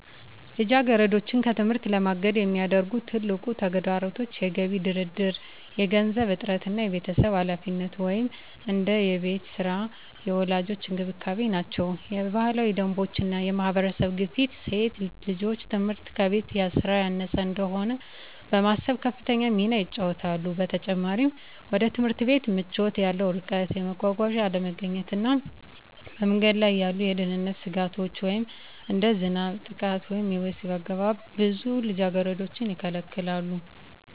ልጃገረዶችን ከትምህርት ለማገድ የሚያደርጉ ትልቁ ተግዳሮቶች የገቢ ድርድር፣ የገንዘብ እጥረት እና የቤተሰብ ኃላፊነት (እንደ የቤት ሥራ እና የወላጆች እንክብካቤ) ናቸው። የባህላዊ ደንቦች እና የማህበረሰብ ግፊት ሴት ልጆች ትምህርት ከቤት ሥራ ያነሰ እንደሆነ በማሰብ ከፍተኛ ሚና ይጫወታሉ። በተጨማሪም፣ ወደ ትምህርት ቤት ምቾት ያለው ርቀት፣ የመጓጓዣ አለመገኘት እና በመንገድ ላይ ያሉ የደህንነት ስጋቶች (እንደ ዝናብ፣ ጥቃት ወይም የወሲብ አገባብ) ብዙ ልጃገረዶችን ይከለክላሉ።